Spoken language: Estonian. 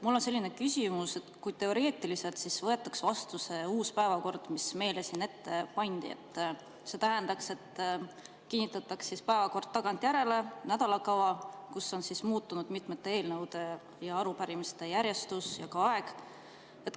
Mul on selline teoreetiline küsimus, et kui võetaks vastu see uus päevakord, mis meile siin ette pandi, siis see tähendaks, et päevakord kinnitataks tagantjärele – nädalakava, kus on muutunud mitmete eelnõude ja arupärimiste järjestus ja ka aeg.